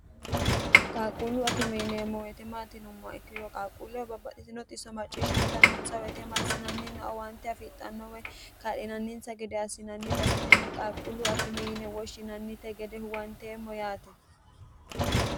qalquullu akime yineemmo weyite maati yinummoha ikkiro qaalquulleho babbaxitino xisso macciishshantannonsa woyitema massiinannina owante afixxannowa ka'linanninsa gede assinanni base tenne qalquullu akime yine woshshinannite gede huwanteemmo yaate.